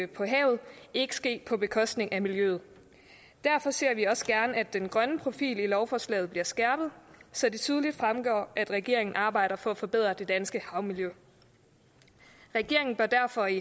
på havet ikke ske på bekostning af miljøet derfor ser vi også gerne at den grønne profil i lovforslaget bliver skærpet så det tydeligt fremgår at regeringen arbejder for at forbedre det danske havmiljø regeringen bør derfor i